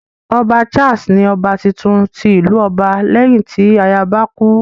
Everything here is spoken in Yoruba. Ọba Charles ni ọba titun tí ìlú ọba, léyìn tí ayaba kú.